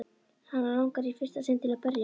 Hana langar í fyrsta sinn til að berja hann.